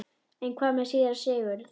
En hvað með síra Sigurð?